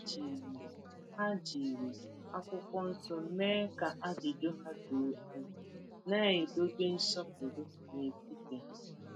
Ha jiri Ha jiri akwụkwọ nsọ mee ka ajụjụ ha doo anya, na-edobe nsọpụrụ n’etiti ha.